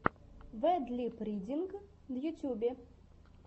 вэд лип ридинг в ютьюбе